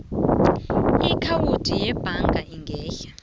iakhawundi yebhaga engehla